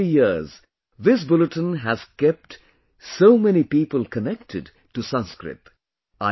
For 50 years, this bulletin has kept so many people connected to Sanskrit